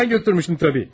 Mən götürmüşdüm, əlbəttə.